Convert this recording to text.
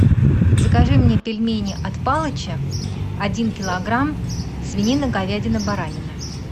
закажи мне пельмени от палыча один килограмм свинина говядина баранина